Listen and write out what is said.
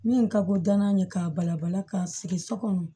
Min ka bon dankan ye k'a bala bala k'a sigi so kɔnɔ